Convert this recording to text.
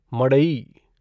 मडई